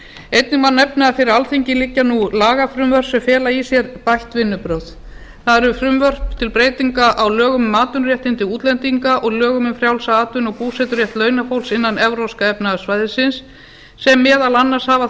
einnig má nefna að fyrir alþingi liggja nú lagafrumvörp sem fela í sér bætt vinnubrögð það eru frumvörp til breytinga á lögum um atvinnuréttindi útlendinga og lögum um frjálsan atvinnu og búseturétt launafólks innan evrópska efnahagssvæðisins sem meðal annars hafa